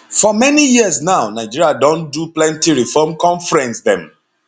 for many years now nigeria don do plenty reform conference dem